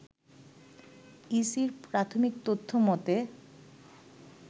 ইসির প্রাথমিক তথ্য মতে